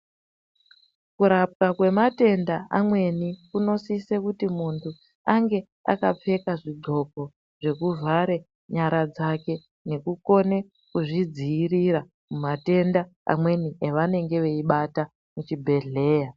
Kurapwa kwematenda amweni, kunosise kuti muntu ange akapfeka zvidxoko zvekuvhare nyara dzake. Nekukone kudzidziirira matenda amweni avanenge veibata muzvibhedhleya.